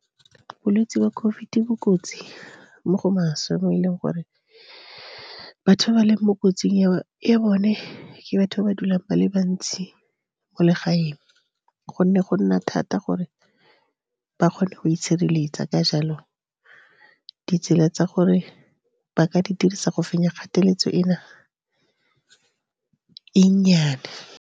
Bolwetse ba COVID bo kotsi, mo go maswe mo e leng gore batho ba ba leng mo kotsing ya bone ke batho ba ba dulang ba le bantsi mo legaeng, gonne go nna thata gore ba kgone go itshireletsa. Ka jalo, ditsela tsa gore ba ka di dirisa go fenya kgatelelo e na e nnyane.